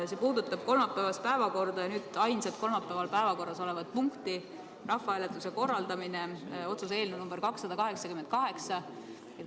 See puudutab kolmapäevast päevakorda ja nüüd ainsat kolmapäeval päevakorras olevat punkti, rahvahääletuse korraldamine, otsuse eelnõu number 288.